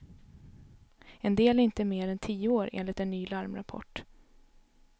En del är inte mer än tio år, enligt en ny larmrapport.